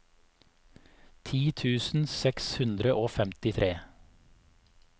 ti tusen seks hundre og femtitre